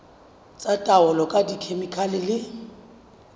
tsa taolo ka dikhemikhale le